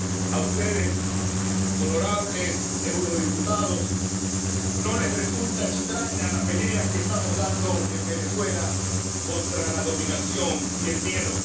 A ustedes, honorables eurodiputados, no les resulta extraña la pelea que estamos dando en Venezuela contra la dominación y el miedo.